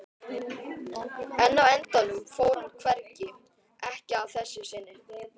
En á endanum fór hann hvergi, ekki að þessu sinni.